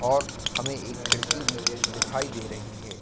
और हमें एक खिड़की भी दिखाई दे रही है।